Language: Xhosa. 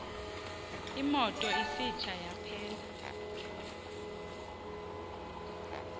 imoto isitsha yaphela